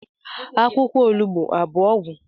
Akwukwo onugbu Abu ogwu?